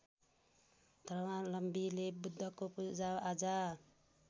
धर्मावलम्बीले बुद्धको पूजाआजा